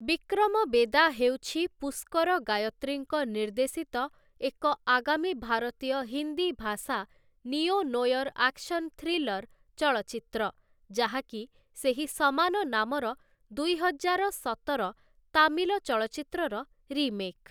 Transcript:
ବିକ୍ରମ ବେଦା ହେଉଛି ପୁଷ୍କର ଗାୟତ୍ରୀଙ୍କ ନିର୍ଦ୍ଦେଶିତ ଏକ ଆଗାମୀ ଭାରତୀୟ ହିନ୍ଦୀ ଭାଷା ନିଓ ନୋୟର ଆକ୍ସନ୍ ଥ୍ରୀଲର ଚଳଚ୍ଚିତ୍ର, ଯାହାକି ସେହି ସମାନ ନାମର ଦୁଇହଜାର ସତର ତାମିଲ ଚଳଚ୍ଚିତ୍ରର ରିମେକ୍ ।